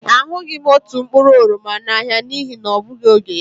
A hụghị m otu mkpụrụ oroma n'ahịa n'ihi na ọ bụghị oge ya.